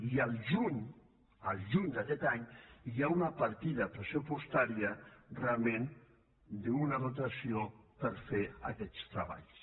i el juny el juny d’aquest any hi ha una partida pressupostària realment d’una dotació per fer aquests treballs